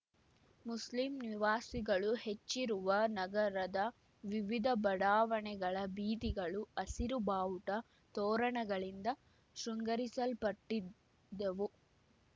Muslim ನಿವಾಸಿಗಳು ಹೆಚ್ಚಿರುವ ನಗರದ ವಿವಿಧ ಬಡಾವಣೆಗಳ ಬೀದಿಗಳು ಹಸಿರು ಬಾವುಟ ತೋರಣಗಳಿಂದ ಶೃಂಗರಿಸಲ್ಪಟ್ಟಿದ್ದವು